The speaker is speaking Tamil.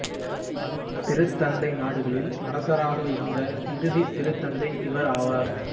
திருத்தந்தை நாடுகளின் அரசராக இருந்த இறுதி திருத்தந்தை இவர் ஆவார்